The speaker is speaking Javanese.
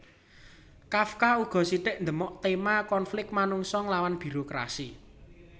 Kafka uga sithik ndemok téma konflik manungsa nglawan birokrasi